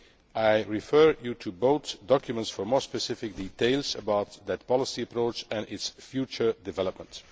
I refer you to both documents for more specific details about that policy approach and its future development.